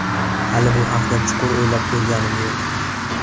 Hali bu haqda chuqur o‘ylab ko‘rganim yo‘q.